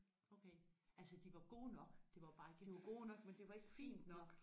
Okay altså de var gode nok det var bare ikke fint nok